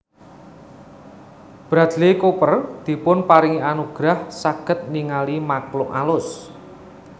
Bradley Cooper dipunparingi anugerah saget ningali makhluk alus